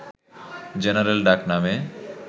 general ডাকনামে